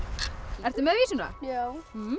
ertu með vísuna já